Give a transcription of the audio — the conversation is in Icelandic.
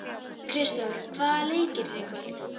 Kristþór, hvaða leikir eru í kvöld?